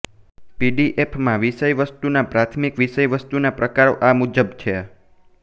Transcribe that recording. પીડીએફમાં વિષયવસ્તુના પ્રાથમિક વિષયવસ્તુના પ્રકારો આ મુજબ છેઃ